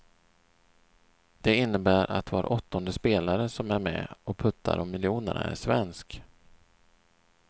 Det innebär att var åttonde spelare som är med och puttar om miljonerna är svensk.